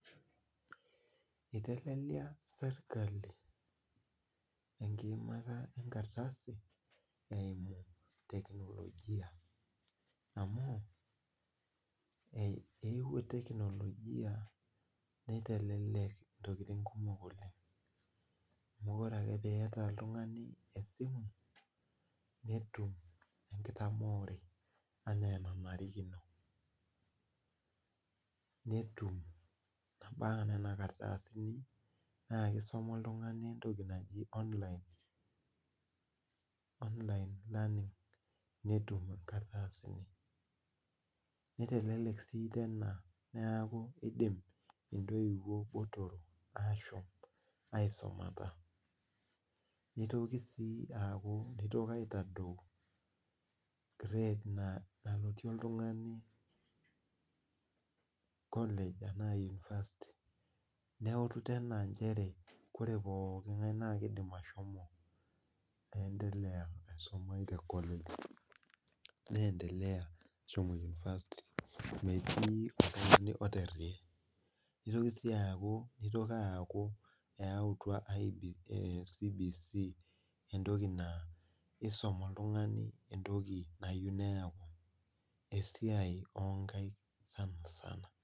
Iteleliaa sirkali enkipimata enkardasi eimu teknologia amu eyewuo teknologia, nitelelek ntokitin kumok oleng, amu ore. ake pee iyata oltungani esimu netum enkitamoore enaa enarikino. mpaka Nena kardasini. naa kisuma oltungani, entoki naji online amu, netum inkardasini. nitelelk sii neeku idim intoiwuo ashom aisumata. nitoki sii aaku eitoki aitadoi grade nalotie oltungani college anaa university. neeku nchere ore pooki ng'ae kidim ashomo. aendea aisumai te kolej. neendelea. ashomo university. nitoki aaku eyautua CBC entoki naa idim oltungani entoki nayieu neeku, esiai oo nkaik sanisana.